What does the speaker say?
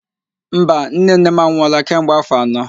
Mba, nnenne m anwụọla kemgbe áfọ̀ anọ